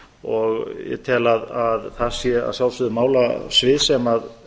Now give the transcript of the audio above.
og tel að það sé að sjálfsögðu málasvið sem